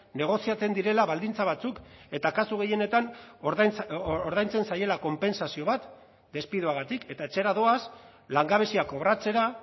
negoziatzen direla baldintza batzuk eta kasu gehienetan ordaintzen zaiela konpentsazio bat despidoagatik eta etxera doaz langabezia kobratzera